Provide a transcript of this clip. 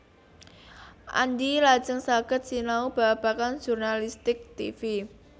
Andy lajeng saged sinau babagan jurnalistik tivi